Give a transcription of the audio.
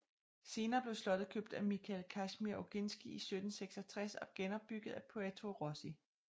Senere blev slottet købt af Michał Kazimierz Ogiński i 1766 og genopbygget af Pietro Rossi